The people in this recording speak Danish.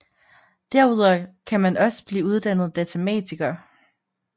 Derudover kan man også blive uddannet datamatiker